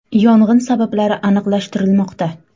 Yong‘in sabablari aniqlashtirilmoqda.